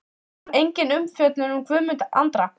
Engin umfjöllun um Guðmund Andra?